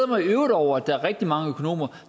mig i øvrigt over at der er rigtig mange økonomer